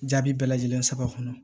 Jaabi bɛɛ lajɛlen saba kɔnɔ